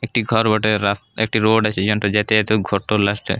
একটা ঘর বটে। রাস্তা একটি রোড আছে যেনটো যেতে যেতে ঘরটোর লাস্ট এ ।